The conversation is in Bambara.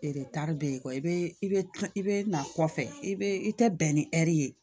taari bɛ yen kɔ bɛ i bɛ i bɛ na kɔfɛ i bɛ i tɛ bɛn ni ye